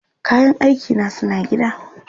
Kayan aikina suna gida.